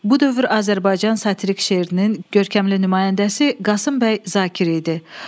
Bu dövr Azərbaycan satirik şeirinin görkəmli nümayəndəsi Qasım bəy Zakir idi.